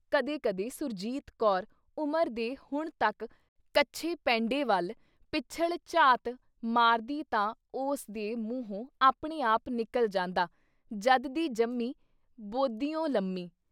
ਕਦੇ-ਕਦੇ ਸੁਰਜੀਤ ਕੌਰ ਉਮਰ ਦੇ ਹੁਣ ਤੱਕ ਕੱਛੇ ਪੈਂਡੇ ਵੱਲ ਪਿੱਛਲ ਝਾਤ ਮਾਰਦੀ ਤਾਂ ਉਸ ਦੇ ਮੂੰਹੋਂ ਆਪਣੇ ਆਪ ਨਿਕਲ ਜਾਂਦਾ "ਜਦ ਦੀ ਜੰਮੀ, ਬੋਦੀਉਂ ਲੰਮੀ।"